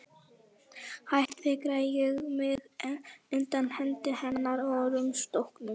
Hægt fikraði ég mig undan hendi hennar og að rúmstokknum.